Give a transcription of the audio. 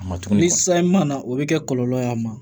A ma tuma ni san ma na o bɛ kɛ kɔlɔlɔ y'a ma